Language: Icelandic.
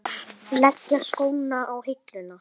Leggja skóna á hilluna?